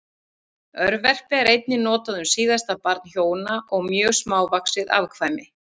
Örverpi er einnig notað um síðasta barn hjóna og mjög smávaxið afkvæmi.